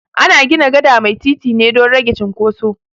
Ana gina gada mai titi ne dan rage cunkoso